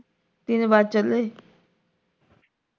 ਤਿੰਨ ਵੱਜ ਚੱਲੇ